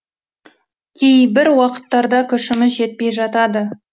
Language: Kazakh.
кейбір уақыттарда күшіміз жетпей жатады